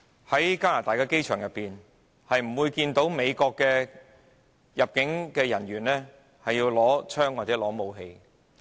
在加拿大的機場內，大家不會看見美國入境人員佩槍或攜有武器。